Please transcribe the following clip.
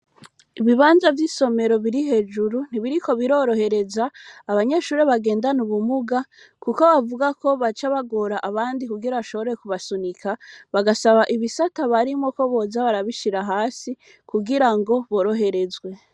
Ibibanza vy'isomero, biri hejuru, ntibiriko birorohereza, abanyeshure bagendana ubumuga; kuko bavuga ko, baca bagora abandi, kugira bashobore, kubasunika; bagasaba, ibisata barimwo, ko boza barabishira hasi, kugira ngo, boroherezwe.